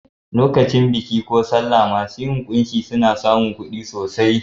Lokacin biki ko sallah masu yin kunshi suna samun kuɗi sosai.